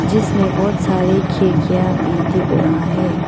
जिसमें बहुत सारे खिड़कियां भी दिख रहा है।